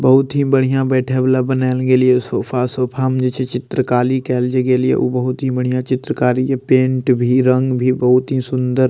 बहुत ही बढ़िया बैठे वाला बनएल गेललेलियो सोफा सोफा में जे जे चित्र काली केएल जे गेलियो वो बहुत ही बढ़िया चित्रकारी के पेंट भी रंग भी बहुत ही सुंदर --